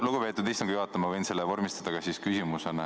Lugupeetud istungi juhataja, ma võin selle vormistada ka küsimusena.